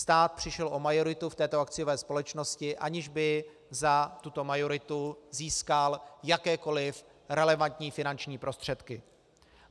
Stát přišel o majoritu v této akciové společnosti, aniž by za tuto majoritu získal jakékoliv relevantní finanční prostředky.